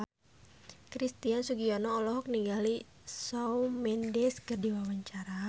Christian Sugiono olohok ningali Shawn Mendes keur diwawancara